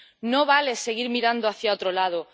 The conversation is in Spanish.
No vale seguir mirando hacia otro lado